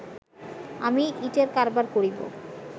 আমি ইঁটের কারবার করিব